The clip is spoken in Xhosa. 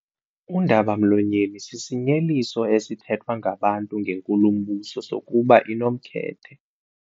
Undaba-mlonyeni sisinyeliso esithethwa ngabantu ngenkulumbuso sokuba inomkhethe.